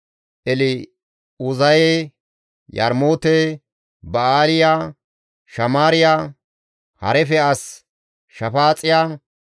El7uzaye, Yarmoote, Ba7aaliya, Shamaariya, Harife as Shafaaxiya,